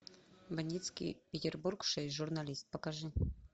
бандитский петербург шесть журналист покажи